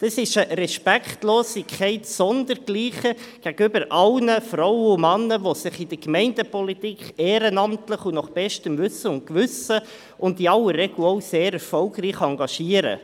Das ist eine Respektlosigkeit sondergleichen gegenüber sämtlichen Frauen und Männern, die sich in der Gemeindepolitik ehrenamtlich, nach bestem Wissen und Gewissen und in der Regel auch sehr erfolgreich engagieren.